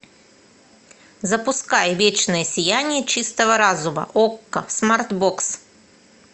запускай вечное сияние чистого разума окко смарт бокс